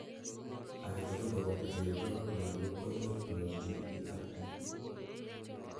agetugul, koboto chererok ak lagok, koimuch konyor GERD